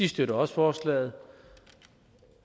støtter forslaget